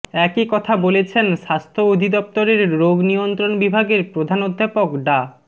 একই কথা বলেছেন স্বাস্থ্য অধিদফতরের রোগ নিয়ন্ত্রণ বিভাগের প্রধান অধ্যাপক ডা